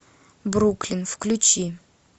бруклин включи